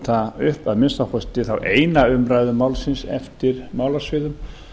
brjóta upp að minnsta kosti þá eina umræðu málsins eftir málasviðum